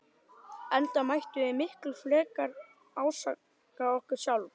Enda mættum við miklu frekar ásaka okkur sjálf.